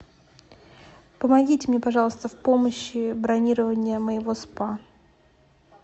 помогите мне пожалуйста в помощи бронирования моего спа